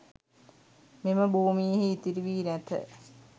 මෙම භූමියෙහි ඉතිරි වී නැත